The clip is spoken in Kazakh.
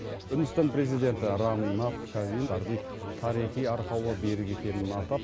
үндістан президенті рам натх ковинд тарихи арқауы берік екенін атап